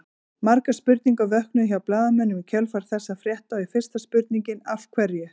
Margar spurningar vöknuðu hjá blaðamönnum í kjölfar þessa frétta og fyrsta spurningin Af hverju?